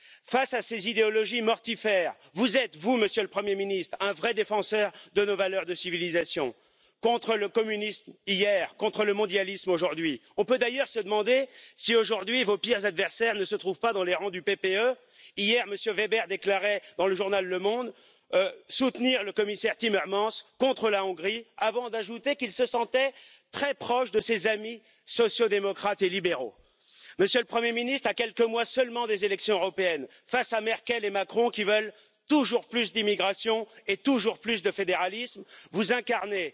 Face à ces idéologies mortifères, vous êtes, vous, Monsieur le Premier ministre, un vrai défenseur de nos valeurs de civilisation, contre le communisme hier, contre le mondialisme aujourd'hui. On peut d'ailleurs se demander si aujourd'hui vos pires adversaires ne se trouvent pas dans les rangs du PPE. Hier, M. Weber déclarait, dans le journal Le Monde soutenir le commissaire Timmermans contre la Hongrie, avant d'ajouter qu'il se sentait très proche de ses amis sociaux démocrates et libéraux. Monsieur le Premier ministre, à quelques mois seulement des élections européennes face à Merkel et Macron qui veulent toujours plus d'immigration et toujours plus de fédéralisme, vous incarnez,